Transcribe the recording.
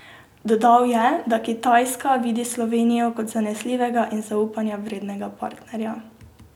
Dodal je, da Kitajska vidi Slovenijo kot zanesljivega in zaupanja vrednega partnerja.